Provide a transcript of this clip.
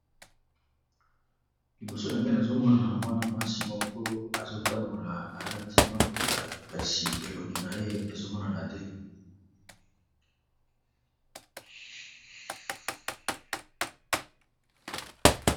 Liboso na gen azomona mwana mwasi moko azo tambola alati maputa kasi elongi na ye ezo monana te.